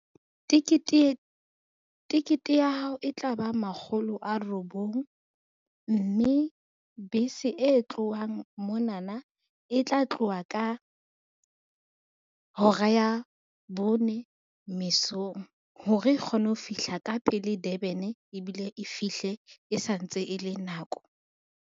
Tikete ya hao e tla ba makgolo a robong, mme bese e tlohang monana e tla tloha ka hora ya bone mesong, hore e kgone ho fihla ka pele Durban ebile e fihle e santse e le nako.